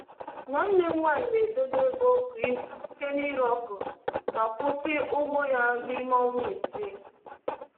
Nwanne m nwanyị na-edebe ego kwa izu site n’ire okra ma kwụsị ụgwọ ya n’ime ọnwa isi